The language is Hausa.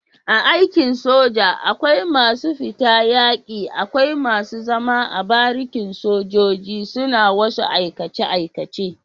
A aikin soja akwai masu fita yaki akwai masu zama a barikin sojoji suna wasu aikace aikace